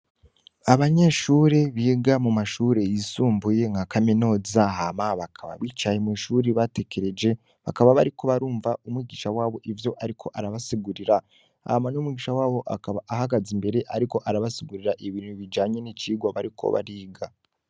Abanyeshure biga mumashure yisumbuye nka kaminuza hama bakaba bicaye mw'ishuri batekereje , bakaba bariko barumva umwigisha wabo ivyo ariko arabasigurira . Hama n'umwigisha wabo akaba abahagaze imbere ariko arabasigurira ibintu bijanye nicigwa bariko bariga.